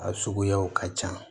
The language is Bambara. A suguyaw ka ca